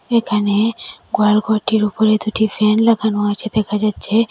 এখানে গোয়াল ঘরটির উপরে দুটি ফ্যান লাগানো আছে দেখা যাচ্ছে।